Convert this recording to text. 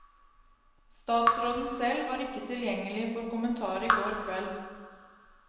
Statsråden selv var ikke tilgjengelig for kommentar i går kveld.